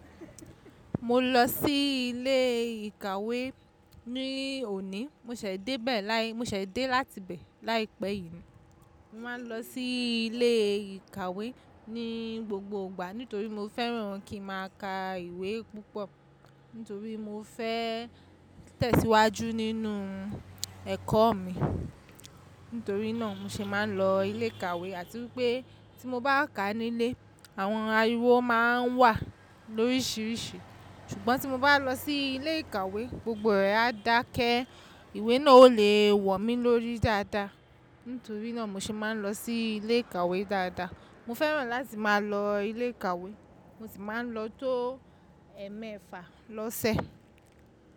Mo lọ sí ilé ìkàwé ní òní, mo ṣẹ̀ débẹ̀ láí mo ṣẹ̀ dé láti bẹ láìpẹ́ yìí ni. Mo máa ń lọ sí ilé ìkàwé ní gbogbo ìgbà nítorí mo fẹ́ran kí n máa ka ìwé púpọ̀. Nítorí mo fẹ́ tẹ̀síwájú nínú ẹ̀kọ́ mi. Nítorí náà mo ṣe máa ń lọ ilé ìkàwé àti wípé tí mo bá kà nílé àwọn ariwo máa ń wà lórísìírísìí. Ṣùgbọ́n tí mo bá lọ sí ilé ìkàwé gbogbo rẹ̀ á dákẹ́, ìwé náà o le wò mí lórí dáadáa. Nítorí náà mo ṣe máa ń lọ sí ilé ìkàwé dáadáa. Mo fẹ́ràn láti máa lọ ilé ìkàwé, mo sì máa ń lọ tó ẹmẹfa lọ́sẹ̀.